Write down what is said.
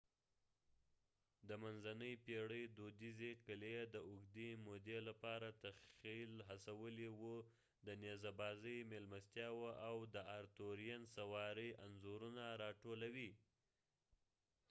د منځنۍ پېړۍ دودیزې قلعې د اوږدې مودې لپاره تخیل هڅولی و د نيزه بازی میلمستیاو او د آرتورېئن سواری انځورونه راټولوي